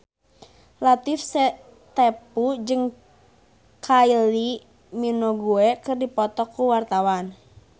Latief Sitepu jeung Kylie Minogue keur dipoto ku wartawan